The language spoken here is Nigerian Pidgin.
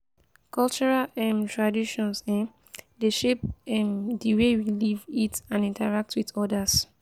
cultural um traditions um dey shape um di way we live eat and interact with odas.